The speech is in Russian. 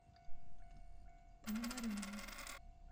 пономареву